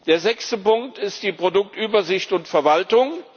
Der sechste Punkt ist die Produktübersicht und verwaltung.